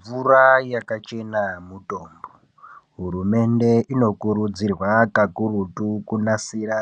Mvura yakachena mutombo hurumende inokurudzirwa kakurutu kunasira